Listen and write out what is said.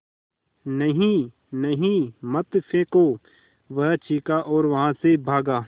नहीं नहीं मत फेंको वह चीखा और वहाँ से भागा